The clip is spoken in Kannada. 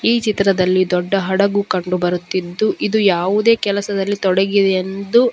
ಈ ಚಿತ್ರದಲ್ಲಿ ದೊಡ್ಡ ಹಡಗು ಕಂಡು ಬರುತ್ತಿದ್ದು ಇದು ಯಾವುದೇ ಕೆಲಸದಲ್ಲಿ ತೊಡಗಿದೆ ಎಂದು --